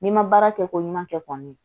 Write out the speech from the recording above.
N'i ma baara kɛ ko ɲuman kɛ kɔni